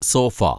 sofa